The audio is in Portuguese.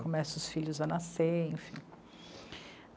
Começa os filhos a nascer, enfim.